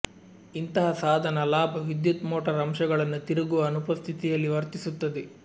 ಇಂತಹ ಸಾಧನ ಲಾಭ ವಿದ್ಯುತ್ ಮೋಟಾರ್ ಅಂಶಗಳನ್ನು ತಿರುಗುವ ಅನುಪಸ್ಥಿತಿಯಲ್ಲಿ ವರ್ತಿಸುತ್ತದೆ